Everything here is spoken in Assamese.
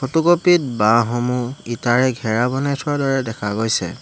ফটোকপি ত বাঁহসমূহ ইটাৰে ঘেৰা বনাই থোৱাৰ দৰে দেখা গৈছে।